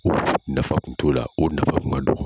Nafa kun t'o la o nafa kun ka dɔgɔ